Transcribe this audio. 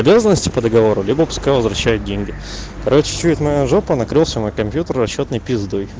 обязанности по договору либо пускай возвращают деньги короче что это моя жопа накрылся мой компьютер расчётный пиздой